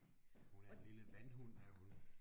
Hun er en lille vandhund er hun